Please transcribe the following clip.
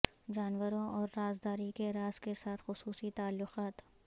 جانوروں اور رازداری کے راز کے ساتھ خصوصی تعلقات